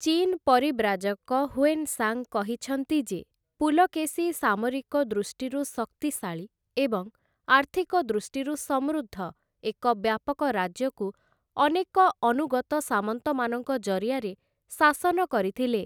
ଚୀନ ପରିବ୍ରାଜକ ହୁଏନ୍‌ସାଂ କହିଛନ୍ତି ଯେ, ପୁଲକେଶୀ ସାମରିକ ଦୃଷ୍ଟିରୁ ଶକ୍ତିଶାଳୀ ଏବଂ ଆର୍ଥିକ ଦୃଷ୍ଟିରୁ ସମୃଦ୍ଧ ଏକ ବ୍ୟାପକ ରାଜ୍ୟକୁ ଅନେକ ଅନୁଗତ ସାମନ୍ତମାନଙ୍କ ଜରିଆରେ ଶାସନ କରିଥିଲେ ।